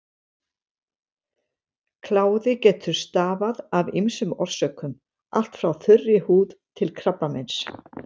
Kláði getur stafað af ýmsum orsökum, allt frá þurri húð til krabbameins.